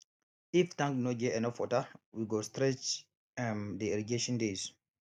if tank no get enough water we go stretch um dey irrigation days